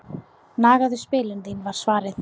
Nagaðu spilin þín var svarið.